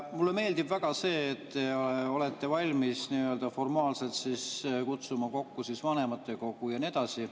Mulle meeldib väga see, et te olete valmis nii-öelda formaalselt kutsuma kokku vanematekogu ja nii edasi.